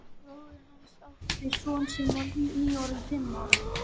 Bróðir hans átti son sem var nýorðinn fimm ára.